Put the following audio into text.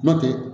N'o tɛ